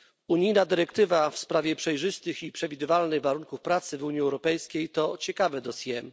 Unijna dyrektywa w sprawie przejrzystych i przewidywalnych warunków pracy w Unii Europejskiej to ciekawe dossier.